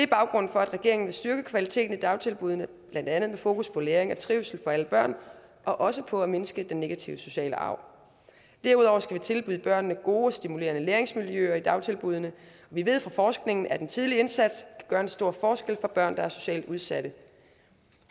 baggrunden for at regeringen vil styrke kvaliteten i dagtilbuddene blandt andet med fokus på læring og trivsel for alle børn og også på at mindske den negative sociale arv derudover skal vi tilbyde børnene gode og stimulerende læringsmiljøer i dagtilbuddene vi ved fra forskningen at en tidlig indsats gøre en stor forskel for børn der er socialt udsatte